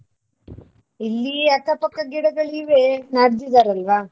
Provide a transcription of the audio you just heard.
ಇಲ್ಲಿ ಅಕ್ಕ ಪಕ್ಕ ಗಿಡಗಳಿವೆ ನಡ್ದಿದಾರಲ್ವ.